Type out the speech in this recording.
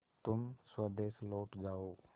तुम स्वदेश लौट जाओ